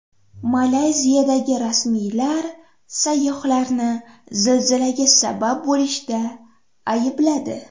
Malayziyada rasmiylar sayyohlarni zilzilaga sabab bo‘lishda aybladi.